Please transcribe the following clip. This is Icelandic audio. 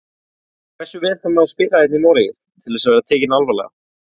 Hversu vel þarf maður að spila hérna í Noregi til þess að vera tekinn alvarlega?